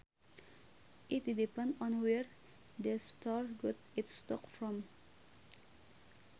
It depend on where the store got its stock from